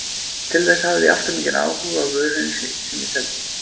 Til þess hafði ég allt of mikinn áhuga á vörunni sem ég seldi.